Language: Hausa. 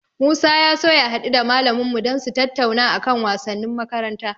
Musa ya so ya haɗu da malamin mu dan su tattauna a kan wasannin makaranta.